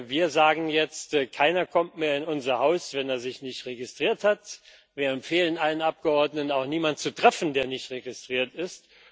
Wir sagen jetzt Keiner kommt mehr in unser Haus, wenn er sich nicht registriert hat, wir empfehlen allen Abgeordneten, auch niemanden zu treffen, der nicht registriert ist.